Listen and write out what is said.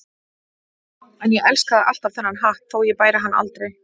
En ég elskaði alltaf þennan hatt þótt ég bæri hann aldrei.